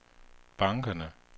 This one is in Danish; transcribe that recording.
bankerne